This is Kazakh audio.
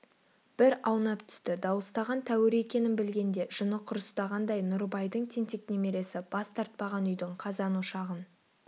бір аунап түсті дауыстаған тәуір екенін білгенде жыны құрыстағандай нұрыбайдың тентек немересі бас тартпаған үйдің қазан-ошағын